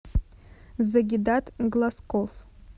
загидат глазков